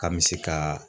An bɛ se kaa